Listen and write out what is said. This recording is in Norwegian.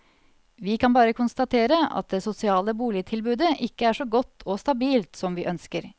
Vi kan bare konstatere at det sosiale boligtilbudet ikke er så godt og stabilt som vi ønsker.